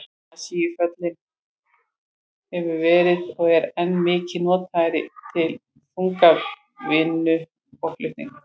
Asíufíllinn hefur verið og er enn mikið notaður til þungavinnu og flutninga.